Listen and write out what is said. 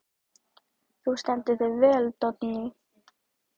Þú stendur þig vel, Doddý!